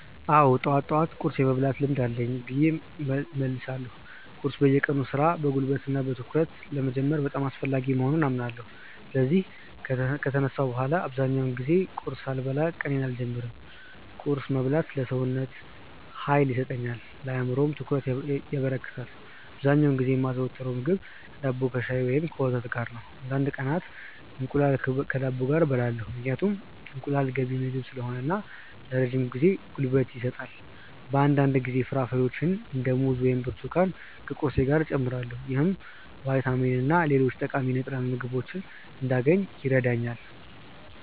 አዎ፣ ጠዋት ጠዋት ቁርስ የመብላት ልምድ አለኝ ብዬ እመልሳለሁ። ቁርስ የቀኑን ሥራ በጉልበትና በትኩረት ለመጀመር በጣም አስፈላጊ መሆኑን አምናለሁ። ስለዚህ ከተነሳሁ በኋላ በአብዛኛው ጊዜ ቁርስ ሳልበላ ቀኔን አልጀምርም። ቁርስ መብላት ለሰውነቴ ኃይል ይሰጠኛል፣ ለአእምሮዬም ትኩረት ያበረክታል። አብዛኛውን ጊዜ የማዘወትረው ምግብ ዳቦ ከሻይ ወይም ከወተት ጋር ነው። አንዳንድ ቀናት እንቁላል ከዳቦ ጋር እበላለሁ፣ ምክንያቱም እንቁላል ገንቢ ምግብ ስለሆነ ለረጅም ጊዜ ጉልበት ይሰጣል። በአንዳንድ ጊዜ ፍራፍሬዎችን እንደ ሙዝ ወይም ብርቱካን ከቁርሴ ጋር እጨምራለሁ። ይህም ቫይታሚንና ሌሎች ጠቃሚ ንጥረ ምግቦችን እንዳገኝ ይረዳኛል።